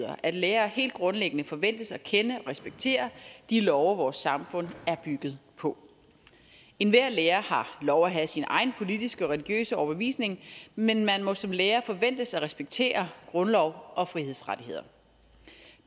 at lærere helt grundlæggende forventes at kende og respektere de love vores samfund er bygget på enhver lærer har lov at have sin egen politiske og religiøse overbevisning men man må som lærer forventes at respektere grundlov og frihedsrettigheder